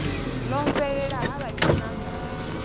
ḽo fhelela ha vha tshinanḓala